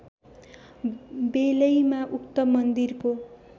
बेलैमा उक्त मन्दिरको